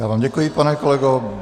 Já vám děkuji, pane kolego.